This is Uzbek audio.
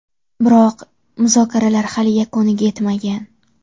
Biroq muzokaralar hali yakuniga yetmagan.